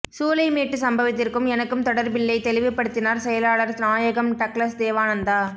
சூளைமேட்டுச் சம்பவத்திற்கும் எனக்கும் தொடர்பில்லை தெளிவுபடுத்தினார் செயலாளர் நாயகம் டக்ளஸ் தேவானந்தா